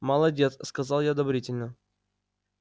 молодец сказал я одобрительно